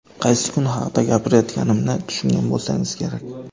Qaysi kun haqida gapirayotganimni tushungan bo‘lsangiz kerak.